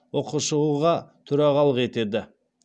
ұқшұ ға төрағалық етеді